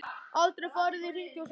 Aldrei farið í hringi og svoleiðis.